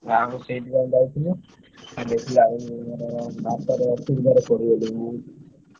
ଗାଁକୁ ସେଇଥିପାଇଁ ଯାଇଥିଲୁ। ଦେଖିଲାବେଳକୁ ମାନେ ବାଟରେ ଅସୁବିଧାରେ ପଡ଼ିଗଲୁ।